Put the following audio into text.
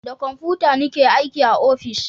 Da komfuta ni ke aiki a ofis